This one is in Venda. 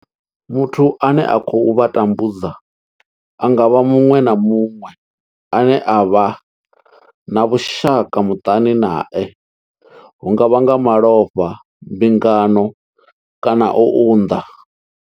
Muthu ane a khou vha tambudza a nga vha muṅwe na muṅwe ane vha vha na vhushaka muṱani nae hu nga vha nga malofha, mbingano kana u unḓa.